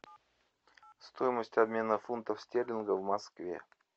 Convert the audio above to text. стоимость обмена фунтов стерлингов в москве